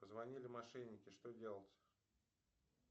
позвонили мошенники что делать